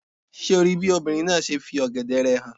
Ṣé o rí bí obìnrin náà ṣe fi ọ̀gẹ̀dẹ̀ rẹ̀ hàn